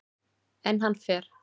En hann fer.